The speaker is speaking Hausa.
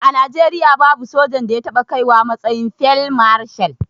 A najeriya babu sojan da ya taɓa kaiwa matsayin field marshal